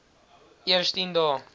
eers tien dae